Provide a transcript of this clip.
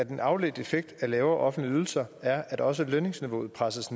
en afledt effekt af lavere offentlige ydelser er er også at lønniveauet presses